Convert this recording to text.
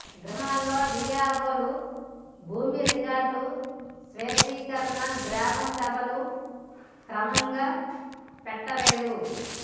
గ్రామాల్లో వీఆర్వోలు భూమి రికార్డులు స్వచ్చీకరణ గ్రామసభలు సక్రమంగా పెట్టలేదు